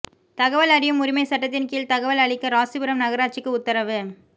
தகவல் அறியும் உரிமைச் சட்டத்தின் கீழ் தகவல் அளிக்க ராசிபுரம் நகராட்சிக்கு உத்தரவு